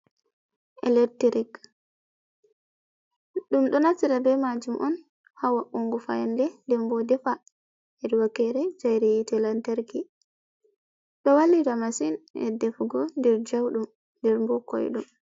Electric ɗum ɗo naftira be majum on ha wa'ungo fayande, nden bo defa hedi wakere chere hite lantarki. Ɗo wallita masin e'defugo nder jauɗum nder bo koydum.